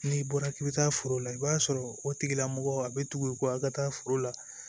N'i bɔra k'i bɛ taa foro la i b'a sɔrɔ o tigilamɔgɔ a bɛ tugu i ko aw ka taa foro la